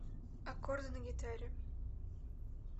аккорды на гитаре